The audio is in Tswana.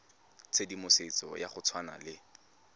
tshedimosetso ya go tshwana le